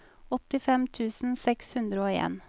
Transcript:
åttifem tusen seks hundre og en